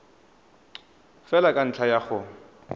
fela ka ntlha ya go